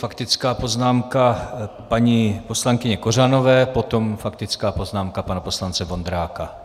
Faktická poznámka paní poslankyně Kořanové, potom faktická poznámka pana poslance Vondráka.